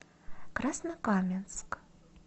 краснокаменск